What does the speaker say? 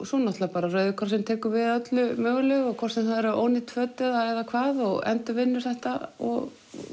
svo náttúrulega Rauði krossinn tekur við öllu mögulegu hvort sem það eru ónýt föt eða hvað og endurvinnur þetta og